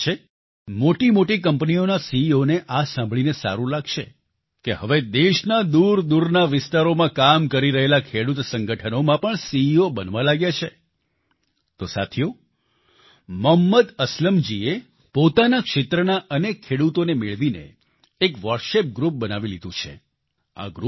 આશા છે મોટી મોટી કંપનીઓના સીઈઓ ને આ સાંભળીને સારું લાગશે કે હવે દેશના દૂરદૂરના વિસ્તારોમાં કામ કરી રહેલા ખેડૂત સંગઠનોમાં પણ સીઈઓ બનવા લાગ્યા છે તો સાથીઓ મોહમ્મદ અસલમજીએ પોતાના ક્ષેત્રનાં અનેક ખેડૂતોને મેળવીને એક વોટ્સએપ ગ્રુપ બનાવી લીધું છે